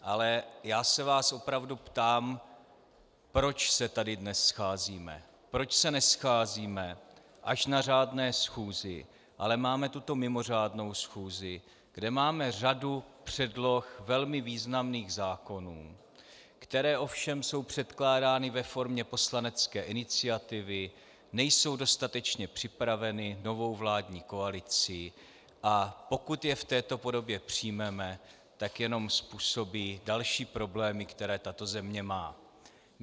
Ale já se vás opravdu ptám, proč se tady dnes scházíme, proč se nescházíme až na řádné schůzi, ale máme tuto mimořádnou schůzi, kde máme řadu předloh velmi významných zákonů, které ovšem jsou předkládány ve formě poslanecké iniciativy, nejsou dostatečně připraveny novou vládní koalicí, a pokud je v této podobě přijmeme, tak jenom způsobí další problémy, které tato země má.